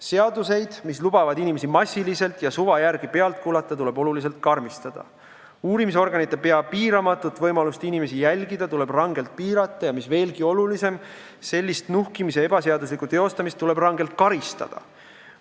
Seaduseid, mis lubavad inimesi massiliselt ja suva järgi pealt kuulata, tuleb oluliselt karmistada, uurimisorganite pea piiramatut võimalust inimesi jälgida tuleb rangelt piirata, ja mis veelgi olulisem, ebaseaduslikku nuhkimist tuleb rangelt karistada.